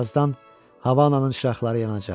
Birazdan Havanın işıqları yanacaq.